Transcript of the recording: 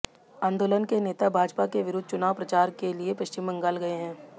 आंदोलन के नेता भाजपा के विरुद्ध चुनाव प्रचार के लिए पश्चिम बंगाल गए हैं